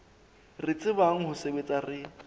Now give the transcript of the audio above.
re tsebang ho sebetsa re